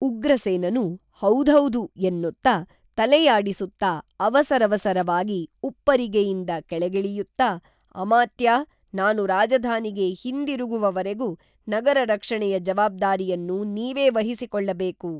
ಉಗ್ರಸೇನನು ಹೌದ್ಹೌದು ಎನ್ನುತ್ತಾ ತಲೆಯಾಡಿಸುತ್ತಾ ಅವಸರವಸರವಾಗಿ ಉಪ್ಪರಿಗೆಯಿಂದ ಕೆಳಗಿಳಿಯುತ್ತಾ ಅಮಾತ್ಯಾ ನಾನು ರಾಜಧಾನಿಗೆ ಹಿಂದಿರುಗುವವರೆಗೂ ನಗರರಕ್ಷಣೆಯ ಜವಾಬ್ದಾರಿಯನ್ನು ನೀವೇ ವಹಿಸಿಕೊಳ್ಳಬೇಕು